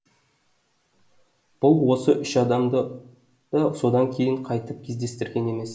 бұл осы үш адамды да содан кейін қайтып кездестірген емес